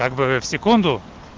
как бы в секунду